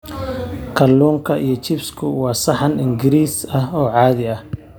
Kalluunka iyo chips-ku waa saxan Ingiriis ah oo caadi ah.